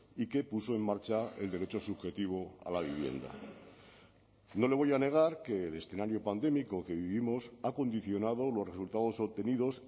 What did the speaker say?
y que puso en marcha el derecho subjetivo a la vivienda no le voy a negar que el escenario pandémico que vivimos ha condicionado los resultados obtenidos